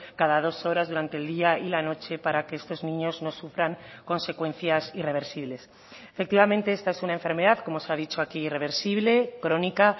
cada dos horas durante el día y la noche para que estos niños no sufran consecuencias irreversibles efectivamente esta es una enfermedad como se ha dicho aquí irreversible crónica